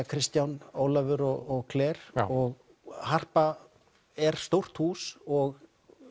Kristján Ólafur og Claire og Harpan er stórt hús og